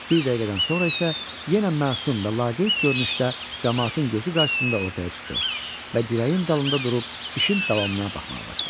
Bir dəqiqədən sonra isə yenə məsum və laqeyd görünüşdə camaatın gözü qarşısında ortaya çıxdı və dirəyin dalında durub işin davamına baxmağa başladı.